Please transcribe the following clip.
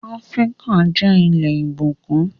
Áfríkà jẹ́ ilẹ̀ ìbùkún